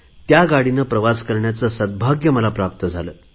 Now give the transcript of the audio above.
त्या रेल्वे प्रवासाचे सद्भाग्य मला प्राप्त झाले